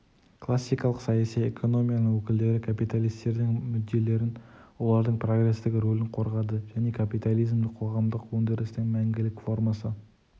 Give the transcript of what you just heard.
классикалық саяси экономияның өкілдері капиталистердің мүдделерін олардың прогрестік ролін қорғады және капитализмді қоғамдық өндірістің мәңгілік формасы